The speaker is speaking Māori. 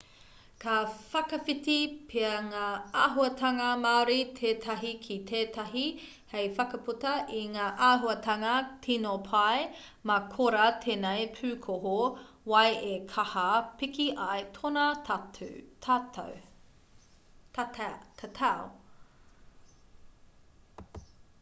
ka whakawhiti pea ngā āhuatanga māori tētahi ki tētahi hei whakaputa i ngā āhuatanga tino pai mā korā tēnei pūkohu wai e kaha piki ai tōna tatau